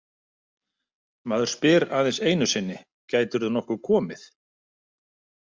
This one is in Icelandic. Maður spyr aðeins einu sinni Gætirðu nokkuð komið?